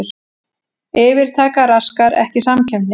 Yfirtaka raskar ekki samkeppni